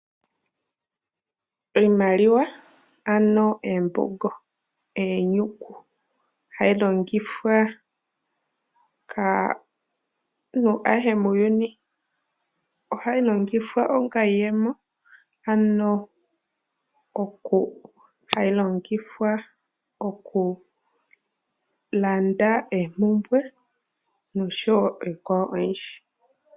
Iimaliwa, anoo eembongo, eenyuku hayi longifwa kaanhu ayehe muuyuni. Ohayi longifwa onga iyemo, ano oku hayi longifwa oku landa eemhumbwe nosho wo oikwawo oyindji.